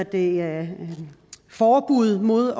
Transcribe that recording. vil lave forbud mod